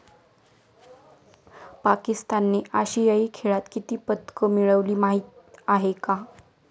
पाकिस्तानने आशियाई खेळात किती पदकं मिळवली माहीत आहे का?